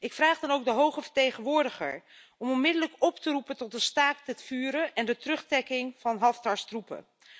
Ik vraag de hoge vertegenwoordiger dan ook onmiddellijk op te roepen tot een staakt het vuren en de terugtrekking van Haftars troepen.